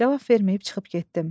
Cavab verməyib çıxıb getdim.